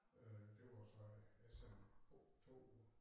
Øh det var så ja siden oktober